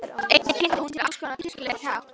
Einnig kynnti hún sér alls konar kirkjuleg tákn.